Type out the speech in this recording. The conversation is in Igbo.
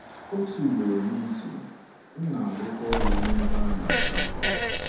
Otu ugboro n'izu, m na-arụkwa ọrụ n'ebe a na-asa ákwà.